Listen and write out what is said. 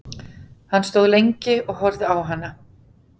Hann stóð lengi og horfði á hana.